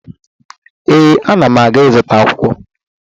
Ee, ana m aga ịzụta akwụkwọ